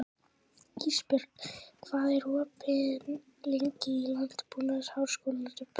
Ísbjörn, hvað er opið lengi í Landbúnaðarháskólanum?